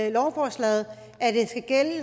i lovforslaget